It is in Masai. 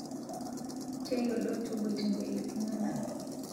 Teyiolo toboitere ltung'ana